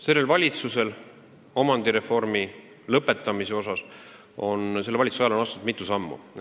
Selle valitsuse ajal on omandireformi lõpetamiseks astutud mitu sammu.